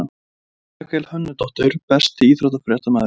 Rakel Hönnudóttir Besti íþróttafréttamaðurinn?